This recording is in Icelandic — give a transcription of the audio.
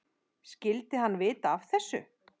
Skyldi hann vita af þessu?